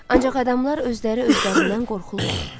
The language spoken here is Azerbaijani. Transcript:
Ancaq adamlar özləri-özlərindən qorxurlar.